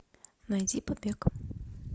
найди побег